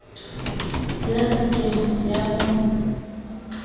ya se ke ya mo